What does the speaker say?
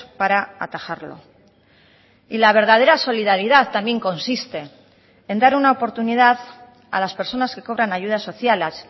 para atajarlo y la verdadera solidaridad también consiste en dar una oportunidad a las personas que cobran ayudas sociales